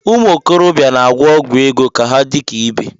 Umuokorobia na-agwọ ọgwụ ego ka ha dị ka ibe